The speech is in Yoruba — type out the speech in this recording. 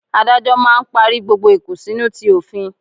Adájọ́ máà ń parí gbogbo ìkùnsínú ti òfin